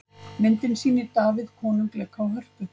Myndin sýnir Davíð konung leika á hörpu.